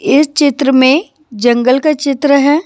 इस चित्र में जंगल का चित्र है।